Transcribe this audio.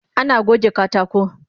Ana goge katako